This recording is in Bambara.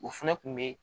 O fɛnɛ kun be